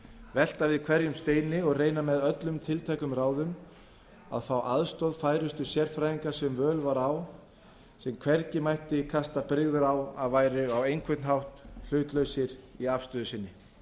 velta við hverjum steini og reyna með öllum tiltækum ráðum að fá aðstoð færustu sérfræðinga sem völ var á sem hvergi mætti kasta brigður á að væru á einhvern hátt hlutlausir í afstöðu sinni